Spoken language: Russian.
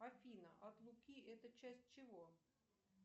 афина от луки это часть чего